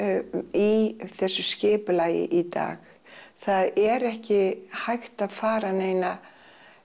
í þessu skipulagi í dag það er ekki hægt að fara neina